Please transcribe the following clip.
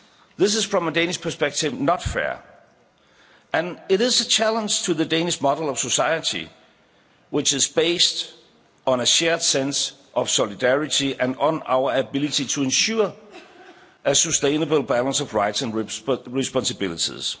This is, from a Danish perspective, not fair, and it is a challenge to the Danish model of society, which is based on a shared sense of solidarity and on our ability to ensure a sustainable balance of rights and responsibilities.